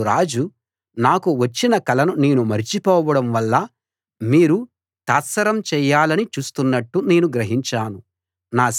అప్పుడు రాజు నాకు వచ్చిన కలను నేను మరచిపోవడం వల్ల మీరు తాత్సారం చేయాలని చూస్తున్నట్టు నేను గ్రహించాను